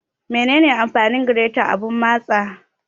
Menene amfanin gireta da abun matsa?